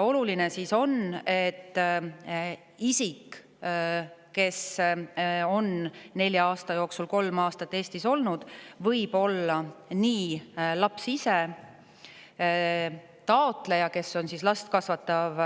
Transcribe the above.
Oluline on, et inimene, kes on nelja aasta jooksul kolm aastat Eestis olnud, võib olla laps ise, taotleja ehk last kasvatav